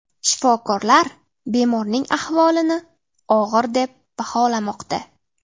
Shifokorlar bemorning ahvolini og‘ir deb baholamoqda.